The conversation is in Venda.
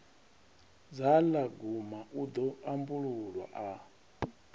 dzhalagoma u ḓo ambulula a